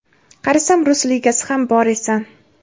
Qarasam, rus ligasi ham bor esan.